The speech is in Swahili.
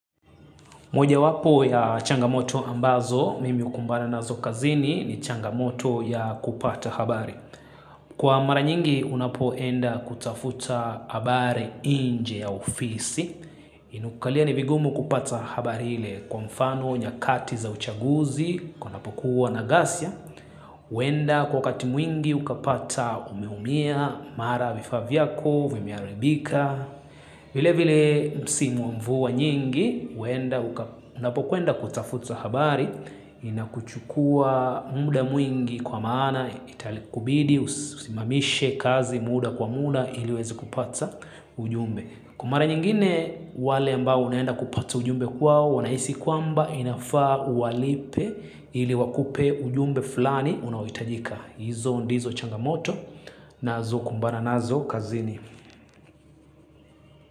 Mojawapo ya changamoto ambazo, mimi hukumbana nazo kazini ni changamoto ya kupata habari. Kwa mara nyingi unapo enda kutafuta habari nje ya ofisi. Ina kukalia ni vigumu kupata habari ile kwa mfano nyakati za uchaguzi, unapokuwa na gasya. Uenda kwa wakati mwingi ukapata umeumia, mara vifaa vyako, vimeharibika. Vile vile msimu wa mvua nyingi, unapokwenda kutafuta habari, inakuchukua muda mwingi kwa maana, italikubidi, usimamishe kazi muda kwa muda, ili uweze kupata ujumbe. Kwa mara nyingine, wale ambao unaenda kupata ujumbe kwao, wanahisi kwamba inafaa uwalipe ili wakupe ujumbe fulani unaoitajika. Hizo ndizo changamoto, nazo kumbana nazo kazini.